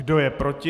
Kdo je proti?